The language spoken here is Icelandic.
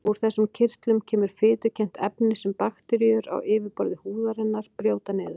Úr þessum kirtlum kemur fitukennt efni sem bakteríur á yfirborði húðarinnar brjóta niður.